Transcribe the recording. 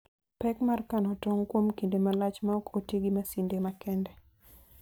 Pek mar kano tong' kuom kinde malach maok oti gi masinde makende.